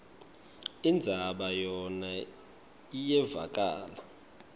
indzaba yona iyevakala